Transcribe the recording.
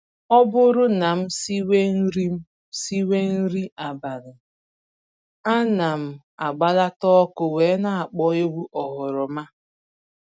Ọ bụrụ na m siwe nri m siwe nri abalị, ana m agbalata ọkụ wee na-akpọ egwu oghoroma